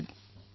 phone call সমাপ্ত